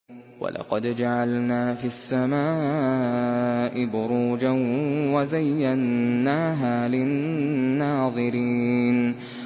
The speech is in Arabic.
وَلَقَدْ جَعَلْنَا فِي السَّمَاءِ بُرُوجًا وَزَيَّنَّاهَا لِلنَّاظِرِينَ